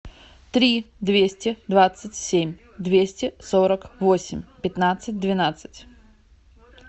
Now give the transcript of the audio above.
три двести двадцать семь двести сорок восемь пятнадцать двенадцать